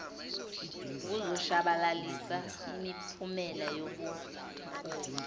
ukuzoshabalalisa imiphumela yobuphofu